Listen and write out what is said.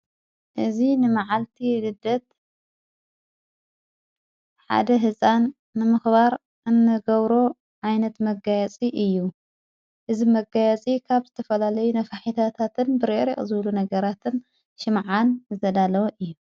እዙ ንመዓልቲ ድደት ሓደ ሕፃን ንምኽባር እንገብሮ ኣይነት መጋያፂ እዩ እዝ መጋያፂ ኻብ ዘተፈላለይ ነፋሒታታትን ብሬር ዕዘብሉ ነገራትን ሽምዓን ዘዳለወ እዩ::